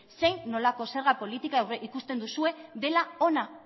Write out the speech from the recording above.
zein nolako zerga politikoa ikusten duzue dela ona